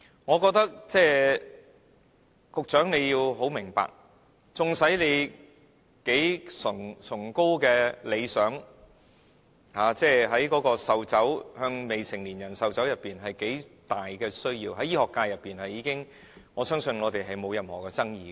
我認為局長要明白，縱使他的理想有多崇高，禁止向未成年人士售酒方面有多重要，在醫學界內，我相信並無任何爭議。